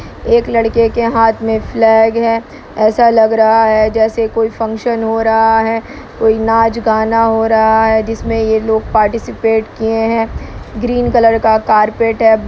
एक लड़के के हाथ में फ्लैग है ऐसा लग रहा है जैसे कोई फंक्शन हो रहा है कोई नाच-गाना हो रहा है जिसमें ये लोग पार्टिसिपेट किए है ग्रीन कलर का कारपेट है।